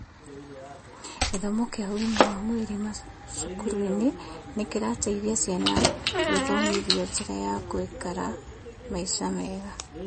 Gĩthomo kĩa ũgima wa mwĩrĩ macukuru-inĩ nĩkĩrateithia ciana gwĩthomithia njĩra ya gũikara maica mega